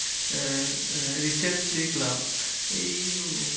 আহ recent দেখলাম এই